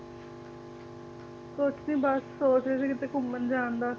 ਕੁਛ ਨੀ ਬਸ ਸੋਚ ਰਹੇ ਸੀ ਕਿਤੇ ਘੁੰਮਣ ਜਾਣ ਦਾ